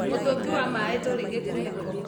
Mũtũngi wa maĩ ndũrĩ gĩkunĩko